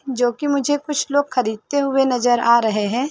जो कि मुझे कुछ लोग खरीदते हुए नजर आ रहे हैं।